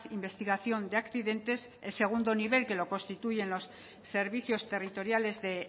investigación de accidentes el segundo nivel que lo constituyen los servicios territoriales de